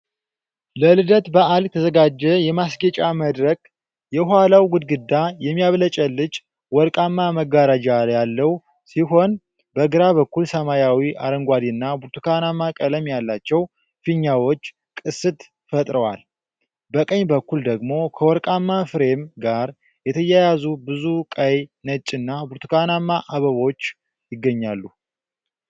ለልደት በዓል የተዘጋጀ የማስጌጫ መድረክ። የኋላው ግድግዳ የሚያብለጨልጭ ወርቃማ መጋረጃ ያለው ሲሆን በግራ በኩል ሰማያዊ፣ አረንጓዴና ብርቱካናማ ቀለም ያላቸው ፊኛዎች ቅስት ፈጥረዋል። በቀኝ በኩል ደግሞ ከወርቃማ ፍሬም ጋር የተያያዙ ብዙ ቀይ፣ ነጭና ብርቱካናማ አበቦች ይገኛሉ።